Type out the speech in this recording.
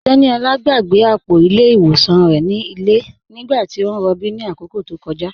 Teníolá gbàgbé apọ̀ ilẹ̀ iwọsàn rẹ̀ ni ilẹ̀ nígbàtí o n rọ̀bí ni akókó tó kọja.